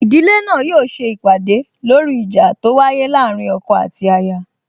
Ìdílé náà yóò se ìpàdè lóri ìjà tó wáyé láàrín ọkọ àti aya